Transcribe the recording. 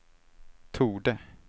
torde